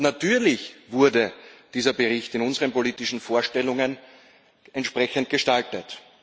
Natürlich wurde dieser Bericht in unseren politischen Vorstellungen entsprechend gestaltet.